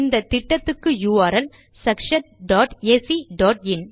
இந்த திட்டத்துக்கு யுஆர்எல் sakshatacஇன்